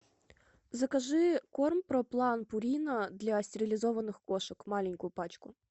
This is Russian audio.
закажи корм проплан пурина для стерилизованных кошек маленькую пачку